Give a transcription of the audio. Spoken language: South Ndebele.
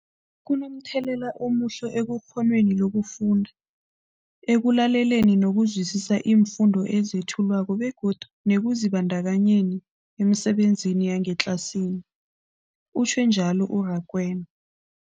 Kunomthelela omuhle ekghonweni lokufunda, ekulaleleni nokuzwisiswa iimfundo ezethulwako begodu nekuzibandakanyeni emisebenzini yangetlasini, utjhwe njalo u-Rakwena.